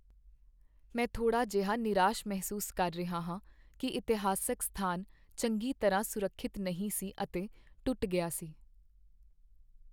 ਮੈਂ ਥੋੜ੍ਹਾ ਜਿਹਾ ਨਿਰਾਸ਼ ਮਹਿਸੂਸ ਕਰ ਰਿਹਾ ਹਾਂ ਕਿ ਇਤਿਹਾਸਕ ਸਥਾਨ ਚੰਗੀ ਤਰ੍ਹਾਂ ਸੁਰੱਖਿਅਤ ਨਹੀਂ ਸੀ ਅਤੇ ਟੁੱਟ ਗਿਆ ਸੀ।